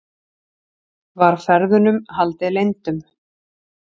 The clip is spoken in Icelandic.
Var ferðunum haldið leyndum